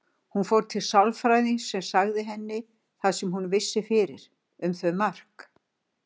Hún fór til sálfræðings sem sagði henni það sem hún vissi fyrir um þau Mark.